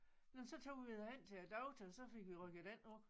Nåh men så tog vi da hen til æ doktor så fik vi rykket den ud